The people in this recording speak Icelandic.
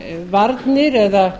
varnir eða